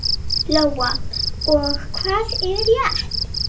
Lóa: Og hvað er rétt?